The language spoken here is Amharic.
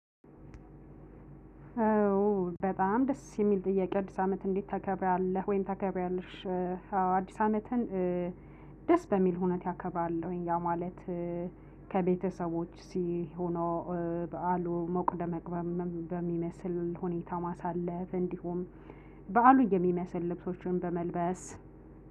በጣም ደስ የሚል ጥያቄ አዲስ አመት እንዴት ተከብራለህ ወይም ተከብሪዋለሽ? አዎ አድስ አመትን ደስ በሚል ሁኔታ አከብራለሁኝ። ከቤተሰቦች ሆኖ በዓሉ ሞቅ ደመቅ በሚመስል ሁኔታ ማሳለፍ። እንዲሁም በዓሉ የሚመስል ልብሶችን በመልበስ